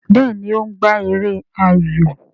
Béèni o ń gbà èrè ayọ.